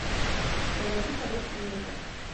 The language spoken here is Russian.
заводи короткий метр